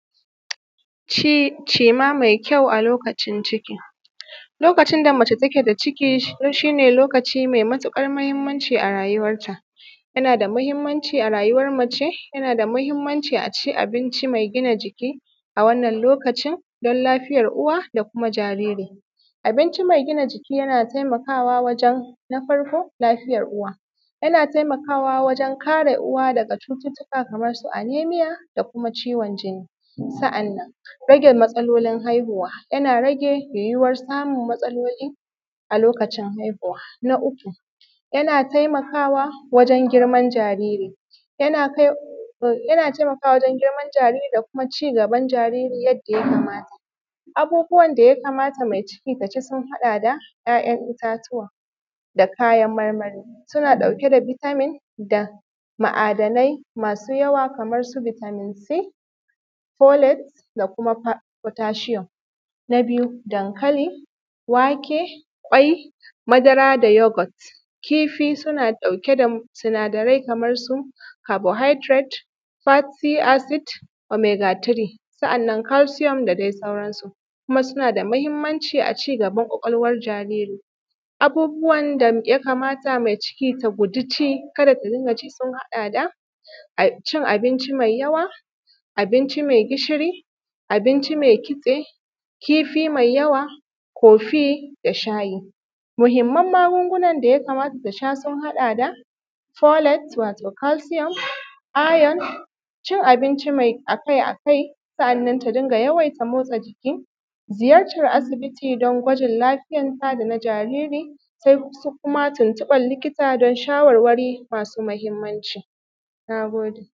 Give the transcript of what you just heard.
Cima mai kyau a lokacin ciki, lokacin da mace take da ciki shi ne lokaci mai matuƙar mahimmanci a rayuwarta yana da mahimmanci a rayuwar mace, yana da mahimmanci a ci abinci mai gina jiki a wannan lokacin dan lafiyar uwa da kuma jariri. Abinci mai gina jiki yana taimakawa wajen na farko lafiyar uwa, yana taimakawa wajen kare uwa daga cututtuka kamar su anaemia da kuma ciwon jinni, sannan rage matsalolin haihuwa yana rage yuwuwar samun matsaloli a lokacin haihuwa. Na uku yana taimakawa wajen girman jariri da kuma cigaban jariri yadda ya kamata. Abubuwan da ya kamata mai ciki su ci sun haɗa da: ‘ya’yan itatuwa da kayan marmari, suna ɗauke da vitamin da ma’adanai masu yawa kamar su vitamin c, polics da kuma potassium, na biyu dankali, wake, kwai, madara da youghurt, kifi suna ɗauke da sinadarai kamar su carbohydrates, fatigue, acid, omega 3, sannan calcium da dai sauransu kuma suna da mahimmanci a cigaban kwakwalwan jariri. Abubuwan da ya kamata mai ciki ta guji ci ka da ta rinƙa ci sun haɗa da cin abinci mai yawa, abinci mai gishiri, abinci mai kitse, kifi mai yawa, ciffee da shayi. Muhimman magungunan da ya kamata ta sha sun haɗa da: wato calcium, iron, cin abinci, mai akai-akai, sannan ta rinƙa yawaita motsa jiki, ziyartar asibiti dan gwajin lafiyarta da na jariri sai kuma tuntubar likita dan shawarwari masu mahimanci. Na gode.